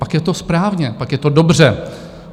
Pak je to správně, pak je to dobře.